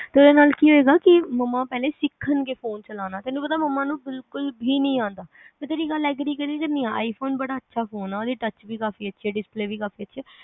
ਤੇ ਉਹਦੇ ਨਾਲ ਕੀ ਹੋਏਗਾ ਕੀ ਮਮਾਂ ਪਹਿਲੇ ਸਿੱਖਣਗੇ ਫ਼ੋਨ ਚਲਾਣਾ ਤੈਨੂੰ ਪਤਾ ਮਮਾਂ ਨੂੰ ਬਿਲਕੁਲ ਵੀ ਨਹੀ ਆਦਾ ਮੈ ਤੇਰੀ ਗੱਲ ਨਾਲ agree ਕਰਦੀ ਆ iphone ਬੜਾ ਅੱਛਾ ਫ਼ੋਨ ਆ ਉਹਦੇ tuch ਵੀ ਕਾਫ਼ੀ ਅੱਛੇ ਆ display ਵੀ ਕਾਫ਼ੀ ਅੱਛੇ ਆ